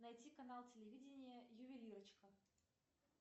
найти канал телевидения ювелирочка